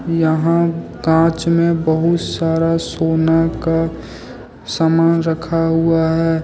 यहाँ कांच में बहुत सारा सोना का सामान रखा हुआ है।